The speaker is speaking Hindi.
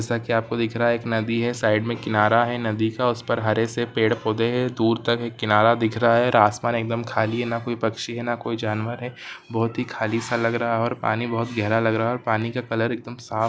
जैसा की आपको दिख रहा है एक नदी है साइड मे किनारा है नदी का उस पर हरे से पेड़-पौधे है दूर तक एक किनारा दिख रहा है और आसमान एक दम खाली है न कोई पक्षी है न कोई जानवर है बहोत ही खली सा लग रहा और पानी बहोत गहरा लग रहा और पानी का कलर एक दम साफ़--